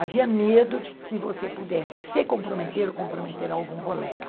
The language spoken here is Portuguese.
Havia medo de que você pudesse se comprometer ou comprometer algum colega.